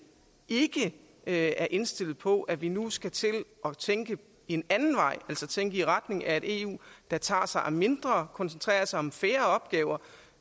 ikke er indstillet på at vi nu skal til at tænke en anden vej altså tænke i retning af et eu der tager sig af mindre og koncentrerer sig om færre opgaver